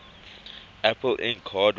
apple inc hardware